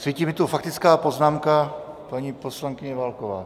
Svítí mi tu faktická poznámka paní poslankyně Válkové.